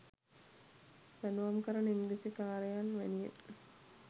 දඩුවම් කරන ඉංග්‍රීසි කාරයන් වැනිය.